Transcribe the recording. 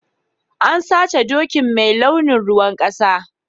An sace dokin mai launin ruwan kasa.